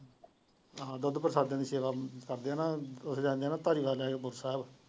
ਹਾਂ ਦੁੱਧ ਪ੍ਰਸ਼ਾਦਿਆਂ ਦੀ ਸੇਵਾ ਕਰਦੇ ਹਾਂ ਨਾ ਉਹ ਲੈ ਜਾਣੇ ਹਾਂ ਨਾ ਭਾਜੀ ਨਾਲ ਹੇਮਕੁੰਟ ਸਾਹਿਬ।